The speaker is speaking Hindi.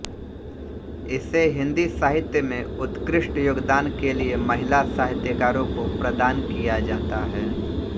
इसे हिन्दी साहित्य में उत्कृष्ट योगदान के लिए महिला साहित्यकारों को प्रदान किया जाता है